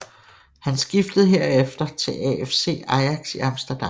Han skiftede herefter til AFC Ajax i Amsterdam